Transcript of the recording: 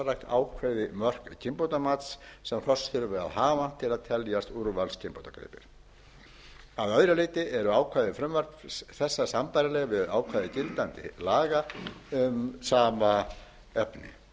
ákveði mörk kynbótamats sem hross þurfi að hafa til að teljast úrvalskynbótagripir að öðru leyti eru ákvæði frumvarps þessa sambærileg við ákvæði gildandi laga um sama efni frú